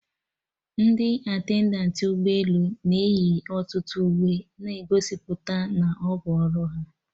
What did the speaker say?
Ndị attendant ụgbọ elu na eyi ọtụtụ uwe na-egosipụta na ọbụ ọrụ ha